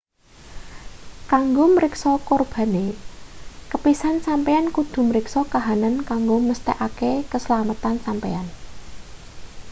kanggo mriksa kurbane kepisan sampeyan kudu mriksa kahanan kanggo mesthekake keslametan sampeyan